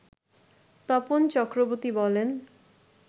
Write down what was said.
তপন চক্রবর্তী বলেন